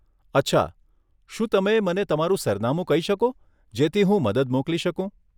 અચ્છા, શું તમે મને તમારું સરનામું કહી શકો જેથી હું મદદ મોકલી શકું?